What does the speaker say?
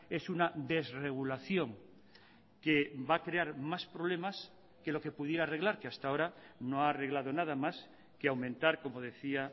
es una desregulación que va a crear más problemas que lo que pudiera arreglar que hasta ahora no ha arreglado nada más que aumentar como decía